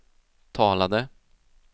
talade